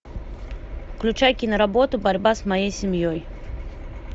включай киноработу борьба с моей семьей